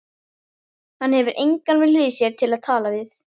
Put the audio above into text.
Hann hefur engan við hlið sér til að tala við.